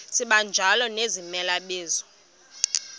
sibanjalo nezimela bizo